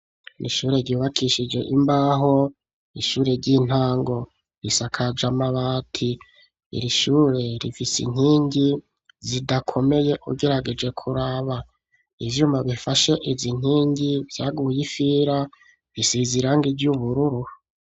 Ishure ryubakishije imbaho, ishure ry'intango risakaje amabati, irishure rifise inkingi zidakomeye ugerageje kuraba ,ivyuma bifashe izi nkingi vyaguye ifira bisize irangi ry'ubururu.